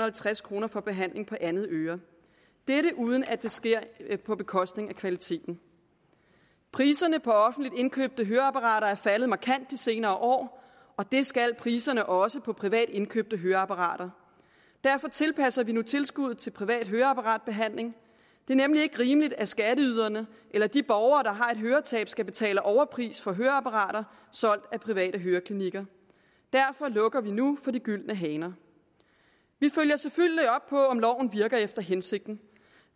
og halvtreds kroner for behandling af andet øre dette uden at det sker på bekostning af kvaliteten priserne på offentligt indkøbte høreapparater er faldet markant de senere år og det skal priserne også på privat indkøbte høreapparater derfor tilpasser vi nu tilskuddet til privat høreapparatbehandling det er nemlig ikke rimeligt at skatteyderne eller de borgere der har et høretab skal betale en overpris for høreapparater solgt af private høreklinikker derfor lukker vi nu for de gyldne haner vi følger selvfølgelig op på om loven virker efter hensigten